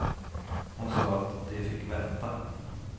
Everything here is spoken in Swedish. Hon sa att de fick vänta.